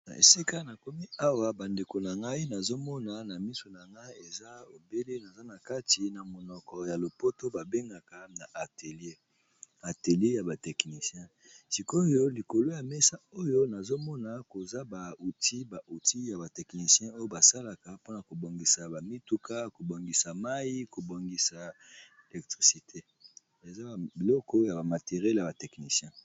Esika na komi awa ba ndeko na ngai nazomona na misu na ngai eza ebele naza na kati na monoko ya lopoto ba bengaka na atelie na atelie yaba tekhnicien, sikoyo likolo ya mesa oyo nazomona koza ba outil ba util ya ba technicien oyo basalaka mpona ko bongisa ba mituka ko bongisa mai ko bongisa elektricité eza biloko ya ba materiele ya ba technicien.